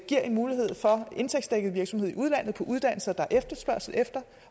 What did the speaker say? giver mulighed for indtægtsdækket virksomhed i udlandet på uddannelser der er efterspørgsel efter